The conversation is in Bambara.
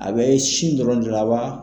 A bɛ sin dɔrɔn de la wa?